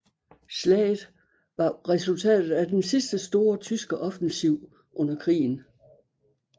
Slaget var resultatet af den sidste store tyske offensiv under krigen